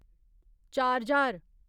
चार ज्हार